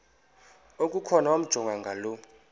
okukhona wamjongay ngaloo